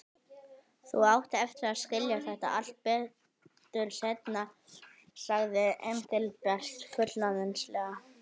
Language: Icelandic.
Þú átt eftir að skilja þetta allt betur seinna, sagði Engilbert fullorðinslega.